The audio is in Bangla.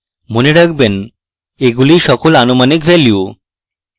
মনে রাখবেন এগুলি সকল আনুমানিক ভ্যালু